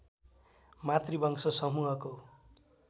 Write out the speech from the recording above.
मातृवंश समूहको